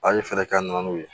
A' ye fɛɛrɛ kɛ na n'u ye